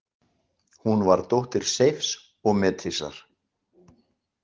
Hún var dóttir Seifs og Metisar.